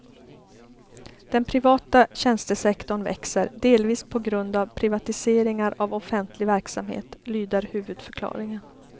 Den privata tjänstesektorn växer, delvis på grund av privatiseringar av offentlig verksamhet, lyder huvudförklaringen.